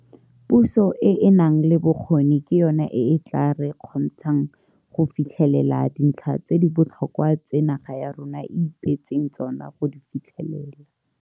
Puso e e nang le bokgoni ke yona e e tla re kgontshang go fitlhelela dintlha tse di botlhokwa tse naga ya rona e ipeetseng tsona go di fitlhelela.